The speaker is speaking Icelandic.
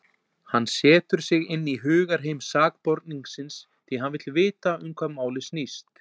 Hann setur sig inn í hugarheim sakborningsins, því hann vill vita um hvað málið snýst.